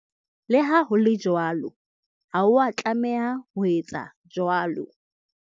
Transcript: Le ha ho le jwalo, ha o a tlameha ho etsa jwalo.